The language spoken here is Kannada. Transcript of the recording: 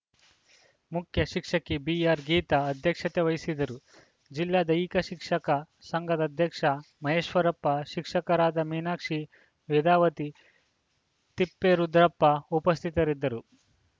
ಮುಖ್ಯಶಿಕ್ಷಕಿ ಬಿಆರ್‌ಗೀತಾ ಅಧ್ಯಕ್ಷತೆ ವಹಿಸಿದ್ದರು ಜಿಲ್ಲಾ ದೈಹಿಕ ಶಿಕ್ಷಕ ಸಂಘದ ಅಧ್ಯಕ್ಷ ಮಹೇಶ್ವರಪ್ಪ ಶಿಕ್ಷಕರಾದ ಮೀನಾಕ್ಷಿ ವೇದಾವತಿ ತಿಪ್ಪೇರುದ್ರಪ್ಪ ಉಪಸ್ಥಿತರಿದ್ದರು